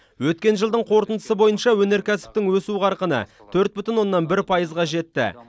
өткен жылдың қорытындысы бойынша өнеркәсіптің өсу қарқыны төрт бүтін оннан бір пайызға жетті